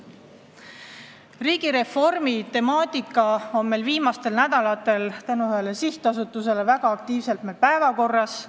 Riigireformi temaatika on meil viimastel nädalatel tänu ühele sihtasutusele väga elavalt päevakorral olnud.